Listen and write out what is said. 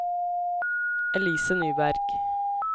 Elise Nyberg